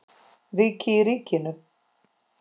Ríki í ríkinu?